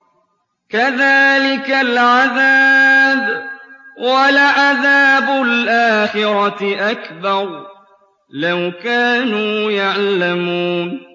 كَذَٰلِكَ الْعَذَابُ ۖ وَلَعَذَابُ الْآخِرَةِ أَكْبَرُ ۚ لَوْ كَانُوا يَعْلَمُونَ